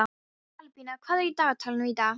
Albína, hvað er í dagatalinu í dag?